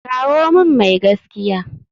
Kawo min mai gaskiya.